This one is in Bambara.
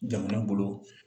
Jamana bolo